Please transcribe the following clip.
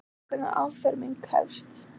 Óljóst hvenær afferming hefst